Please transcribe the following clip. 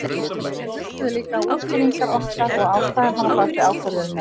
Þeir hlustuðu líka á útskýringar okkar og ástæðurnar á bakvið ákvörðunina.